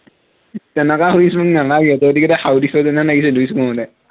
তেনেকুৱা wish মোক নালাগে, তহঁতিকেইটাই শাও দিছ যেনে লাগিছে wish কৰোতে